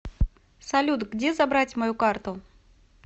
салют где забрать мою карту